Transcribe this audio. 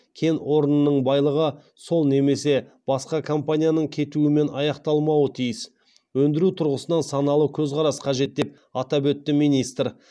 кен орнының байлығы сол немесе басқа компанияның кетуімен аяқталмауы тиіс өндіру тұрғысынан саналы көзқарас қажет деп атап өтті министр